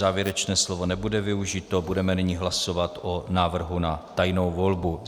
Závěrečné slovo nebude využito, budeme nyní hlasovat o návrhu na tajnou volbu.